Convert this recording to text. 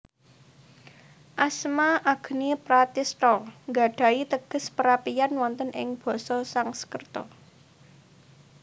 Asma Agni Pratistha nggadhahi teges Perapian wonten ing Basa Sangskerta